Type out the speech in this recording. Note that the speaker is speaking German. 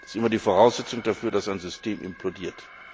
Das ist immer die Voraussetzung dafür, dass ein System implodiert.